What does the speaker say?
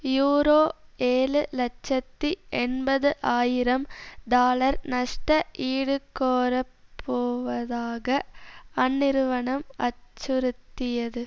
euro ஏழு இலட்சத்தி எண்பது ஆயிரம் டாலர் நஷ்ட ஈடுகோரப்போவதாக அந்நிறுவனம் அச்சுறுத்தியது